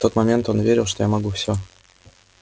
в тот момент он верил что я могу всё